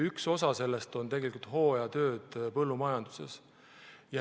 Üks osa sellest on hooajatöödel põllumajanduses.